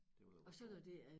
Det var da voldsomt